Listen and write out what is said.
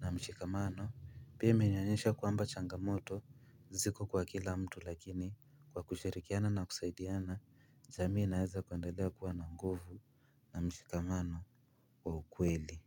na mshikamano. Pia imenionyesha kwamba changamoto ziko kwa kila mtu lakini kwa kushirikiana na kusaidiana. Jamii inaweza kuendelea kuwa na nguvu na mshikamano wa ukweli.